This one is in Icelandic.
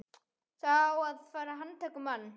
Það á að fara að handtaka mann.